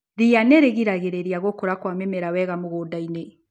Ria nĩrĩgiragĩrĩria gũkura kwa mĩmera wega mũgundainĩ.